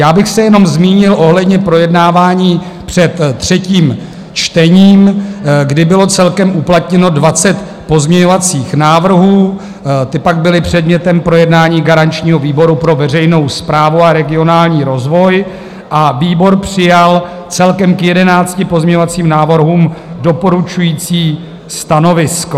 Já bych se jenom zmínil ohledně projednávání před třetím čtením, kdy bylo celkem uplatněno 20 pozměňovacích návrhů, ty pak byly předmětem projednání garančního výboru pro veřejnou správu a regionální rozvoj a výbor přijal celkem k 11 pozměňovacím návrhům doporučující stanovisko.